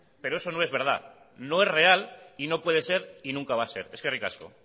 pero eso no es verdad no es real y no puede ser y nunca va a ser eskerrik asko